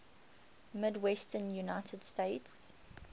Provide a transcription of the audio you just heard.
midwestern united states